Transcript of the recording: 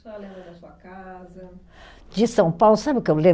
A senhora lembra da sua casa. De São Paulo sabe o que eu lembro?